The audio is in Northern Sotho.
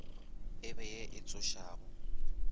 e be ye e tsošago